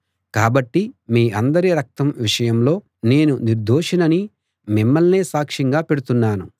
కాబట్టి మీ అందరి రక్తం విషయంలో నేను నిర్దోషినని మిమ్మల్నే సాక్ష్యంగా పెడుతున్నాను